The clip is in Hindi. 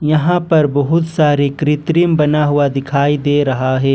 यहां पर बहुत सारी कृत्रिम बना हुआ दिखाई दे रहा है।